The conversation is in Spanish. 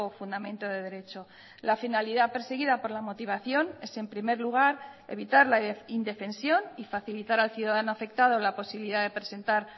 fundamento de derecho la finalidad perseguida por la motivación es en primer lugar evitar la indefensión y facilitar al ciudadano afectado la posibilidad de presentar